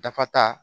Dafa ta